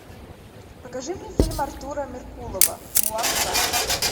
покажи мне фильм артура меркулова мулан два